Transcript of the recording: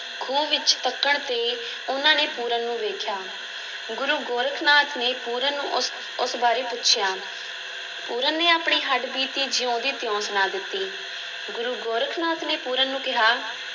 ਖੂਹ ਵਿੱਚ ਤੱਕਣ 'ਤੇ ਉਹਨਾਂ ਨੇ ਪੂਰਨ ਨੂੰ ਵੇਖਿਆ, ਗੁਰੂ ਗੋਰਖ ਨਾਥ ਨੇ ਪੂਰਨ ਨੂੰ ਉਸ, ਉਸ ਬਾਰੇ ਪੁੱਛਿਆ, ਪੂਰਨ ਨੇ ਆਪਣੀ ਹੱਡਬੀਤੀ ਜਿਉਂ ਦੀ ਤਿਉਂ ਸੁਣਾ ਦਿੱਤੀ, ਗੁਰੂ ਗੋਰਖ ਨਾਥ ਨੇ ਪੂਰਨ ਨੂੰ ਕਿਹਾ,